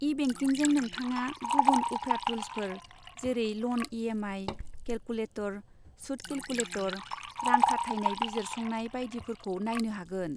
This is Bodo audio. ई बेंकिंजों, नोंथाङा गुबुन उफ्रा टुल्सफोर, जेरै ल'न इ.एम.आइ. केलकुलेटर, सुत केलकुलेटर, रां खाथायनाय बिजिरसंनाय बायदिफोरखौ नायनो हागोन।